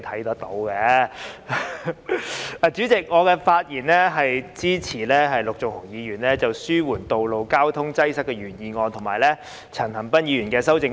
代理主席，我發言支持陸頌雄議員的"紓緩道路交通擠塞"原議案，以及陳恒鑌議員的修正案。